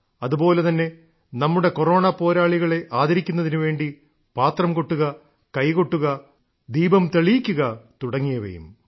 അതുപോലെ തന്നെ നമ്മുടെ കൊറോണ പോരാളികളെ ആദരിക്കുന്നതിനു വേണ്ടി പാത്രം കൊട്ടുക കൈ കൊട്ടുക ദീപം തെളിയിക്കുക തുടങ്ങിയവയും